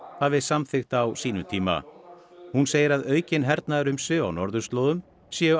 hafi samþykkt á sínum tíma hún segir að aukin hernaðarumsvif á norðurslóðum séu